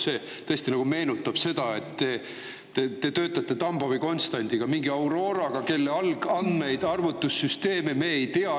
See tõesti nagu meenutab seda, et te töötate Tambovi konstandiga, mingi Auroraga, kelle algandmeid ja arvutussüsteeme me ei tea.